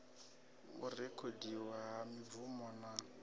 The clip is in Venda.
u rekhodiwa ha mibvumo na